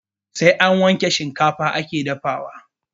Sai an wanke shikafa ake dafawa